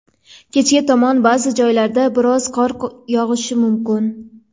kechga tomon ba’zi joylarda biroz qor yog‘ishi mumkin.